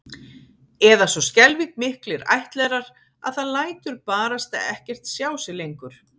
Eða svo skelfing miklir ættlerar að það lætur barasta ekkert sjá sig lengur